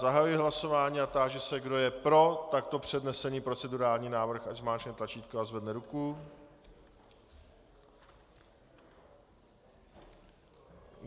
Zahajuji hlasování a táži se, kdo je pro takto přednesený procedurální návrh, ať zmáčkne tlačítko a zvedne ruku.